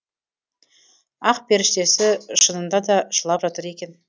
ақперіштесі шынында да жылап жатыр екен